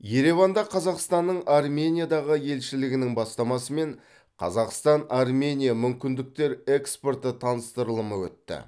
ереванда қазақстанның армениядағы елшілігінің бастамасымен қазақстан армения мүмкіндіктер экспорты таныстырылымы өтті